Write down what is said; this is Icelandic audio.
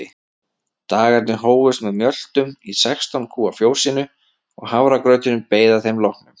Dagarnir hófust með mjöltum í sextán kúa fjósinu og hafragrauturinn beið að þeim loknum.